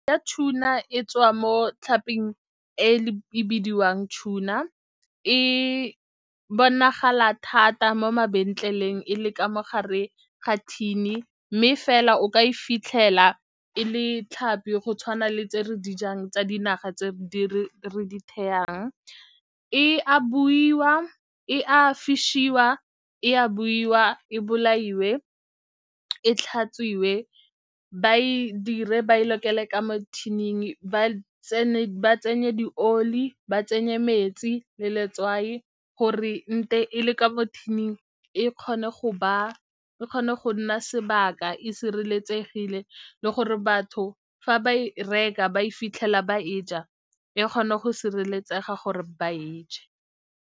Tuna e tswa mo tlhaping e bidiwang tuna, e bonagala thata mo mabenkeleng e le ka mo gare ga thini mme fela o ka e fitlhela e le tlhapi go tshwana le tse re di jang tsa dinaga tse re di e a buiwa, e a , e a buiwa, e bolaiwe, e tlhatswiwe ba e dire, ba e lokele ka mo thining, ba tsenye dioli, ba tsenye metsi le letswai, gore nte e le ka mo thining e kgone go nna sebaka e sireletsegile le gore batho fa ba e reka ba e fitlhela ba e ja, e kgone go sireletsega gore ba e je.